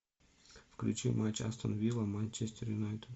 включи матч астон вилла манчестер юнайтед